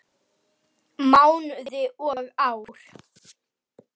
Mánuði og ár.